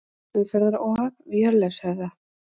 Umferðaróhapp við Hjörleifshöfða